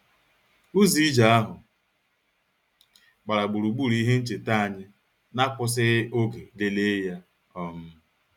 Ụzọ ije ahụ gbara gburugburu ihe ncheta anyị na-akwụsịghị oge lelee ya um